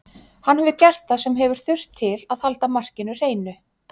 Hann hefur gert það sem hefur þurft til að halda markinu hreinu.